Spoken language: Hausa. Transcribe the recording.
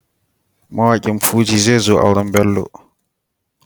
Mawaƙin Fuji zezo auren Bello.